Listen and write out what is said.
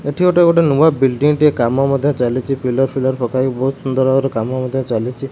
ଏଠି ଗୋଟେ ଗୋଟେ ନୂଆ ବିଲଡିଙ୍ଗ ଟେ କାମ ମଧ୍ୟ ଚାଲିଚି ପିଲର୍ ଫିଲର ପକା ହେଇକି ବହୁତ୍ ସୁନ୍ଦର ଭାବରେ କାମ ମଧ୍ୟ ଚାଲିଚି।